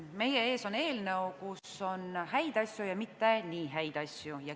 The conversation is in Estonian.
Meie ees on eelnõu, kus on häid asju ja on ka mitte nii häid asju.